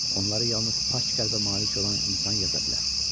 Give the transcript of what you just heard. Onları yalnız pak qəlbə malik olan insan yaza bilər.